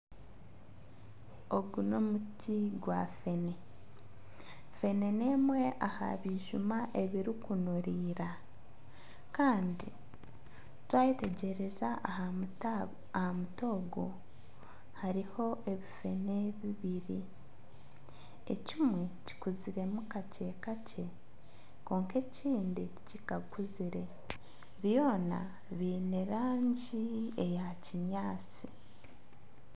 Ogu n'omuti gwa fene. Fene n'emwe aha bijuma ebirikunuririra kandi twayetegyereza aha muti ogwo hariho ebifene bibiri ekimwe kikuziremu kakye kakye kwonka ekindi tikikakuzire byona byiine rangi eya kinyaatsi.